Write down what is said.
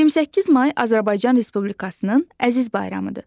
28 may Azərbaycan Respublikasının əziz bayramıdır.